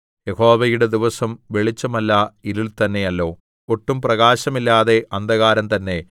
യഹോവയുടെ ദിവസം വെളിച്ചമല്ല ഇരുൾ തന്നെയല്ലോ ഒട്ടും പ്രകാശമില്ലാതെ അന്ധകാരം തന്നെ